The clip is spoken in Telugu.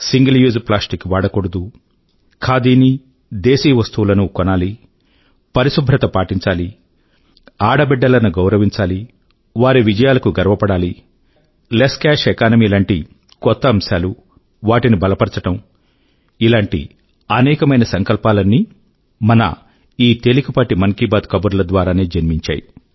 సింగిల్ యూజ్ ప్లాస్టిక్ వాడకూడదు ఖాదీనీ దేశీ వస్తువులనూ కొనాలి పరిశుభ్రత పాటించాలి ఆడబిడ్డలను గౌరవించాలి వారి విజయాలకు గర్వపడాలి లెస్ కాష్ ఎకానమీ లాంటి కొత్త అంశాలు వాటిని బలపరచడం మొదలైన అనేకమైన సంకల్పాలన్నీ మన ఈ తేలికపాటి మన్ కీ బాత్ కబుర్ల ద్వారానే జన్మించాయి